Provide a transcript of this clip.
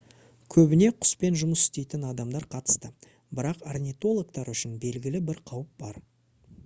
көбіне құспен жұмыс істейтін адамдар қатысты бірақ орнитологтар үшін белгілі бір қауіп бар